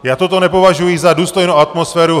Já toto nepovažuji za důstojnou atmosféru!